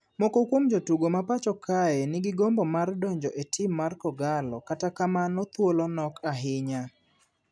Moko kuom jotugo ma pacho kae ni gi gombo mar donjo e tim mar kogallo kata kamano thuolo nok ahinya.